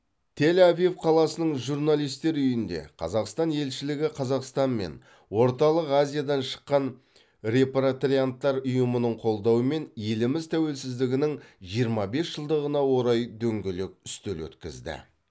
тель авив қаласының журналисттер үйінде қазақстан елшілігі қазақстан мен орталық азиядан шыққан репатрианттар ұйымының қолдауымен еліміз тәуелсіздігінің жиырма бес жылдығына орай дөңгелек үстел өткізді